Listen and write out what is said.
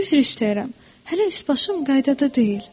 Üzr istəyirəm, hələ üs başım qaydada deyil.